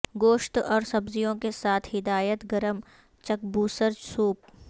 گوشت اور سبزیوں کے ساتھ ہدایت گرم چکبصور سوپ